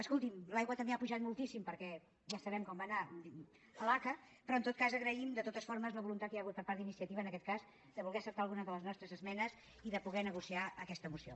escolti’m l’aigua també ha pujat moltíssim perquè ja sabem com va anar l’aca però en tot cas agraïm de totes formes la voluntat que hi ha hagut per part d’iniciativa en aquest cas de voler acceptar alguna de les nostres esmenes i de poder negociar aquesta moció